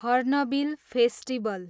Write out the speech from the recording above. hornbill festival